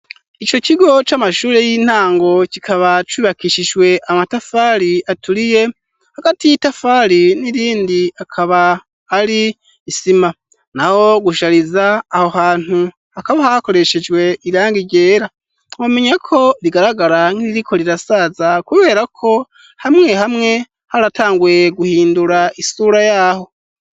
Ico kigo c'amashuri y'intango kikaba cubakishijwe amatafari aturiye hagati y'itafari n'irindi akaba ari isima naho gushariza aho hantu hakaba hakoreshejwe irangi ryera bamenya ko rigaragara nk'iriko rirasaza kubera ko hamwe hamwe haratanguye guhindura isura yaho.